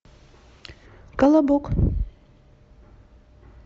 колобок